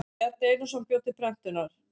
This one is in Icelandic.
Bjarni Einarsson bjó til prentunar.